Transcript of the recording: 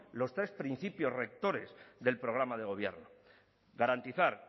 los tres principios rectores del programa de gobierno garantizar